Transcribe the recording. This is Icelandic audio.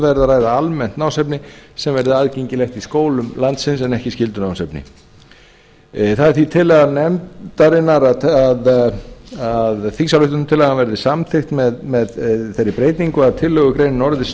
ræða almennt námsefni sem verði aðgengilegt í skólum landsins en ekki skyldunámsefni það er því tillaga nefndarinnar að þingsályktunartillagan verði samþykkt með þeirri breytingu að tillaga orðist